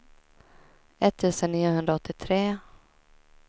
etttusen niohundraåttiotre